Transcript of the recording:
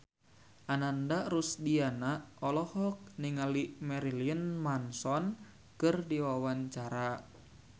Ananda Rusdiana olohok ningali Marilyn Manson keur diwawancara